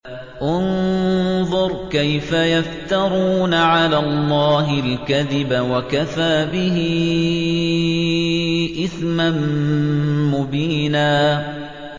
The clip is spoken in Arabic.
انظُرْ كَيْفَ يَفْتَرُونَ عَلَى اللَّهِ الْكَذِبَ ۖ وَكَفَىٰ بِهِ إِثْمًا مُّبِينًا